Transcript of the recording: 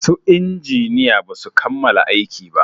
Su injiniya basu kammala aiki ba